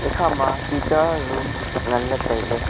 ikha ma toita room ngan le tai ley.